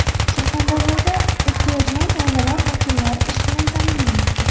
Surxondaryoda ehtiyojmand oilalar vakillari ish bilan ta’minlanmoqda.